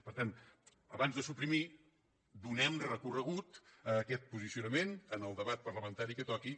per tant abans de suprimir donem recorregut a aquest posicionament en el debat parlamentari que toqui